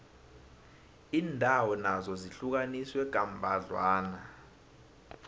iindawo nazo zihlukaniswe kambadlwana